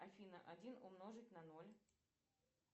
афина один умножить на ноль